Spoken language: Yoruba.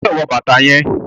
o gbódò wọ bàtá yén!